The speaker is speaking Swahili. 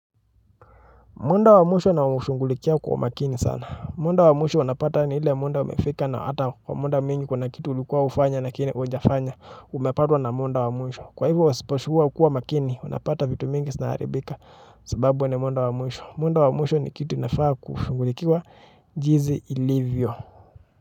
Muda wa mwisho naushugulikia kwa umakini sana. Muda wa mwisho unapata ni ile muda umefika na hata muda mwingi kuna kitu ulikuwa ufanye lakini hujafanya umepatwa na muda wa mwisho. Kwa hivyo wasipokua makini, wanapata vitu mingi zina haribika sababu ni muda wa mwisho. Muda wa mwisho ni kitu inafaa kushugulikiwa jinsi ilivyo.